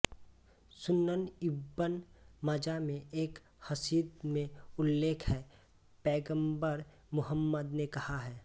सुनन इब्न माजा में एक हदीस में उल्लेख है पैग़म्बर मुहम्मद ने कहा है